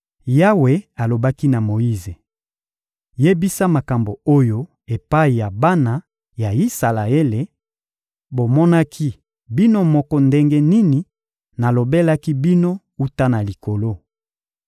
Yawe alobaki na Moyize: — Yebisa makambo oyo epai ya bana ya Isalaele: «Bomonaki bino moko ndenge nini nalobelaki bino wuta na likolo.